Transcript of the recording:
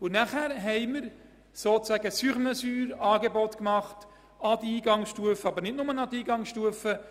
Dazu haben wir gewissermassen «sur mesure» Unterstützungsangebote gemacht, nicht nur, aber auch für die Eingangsstufe.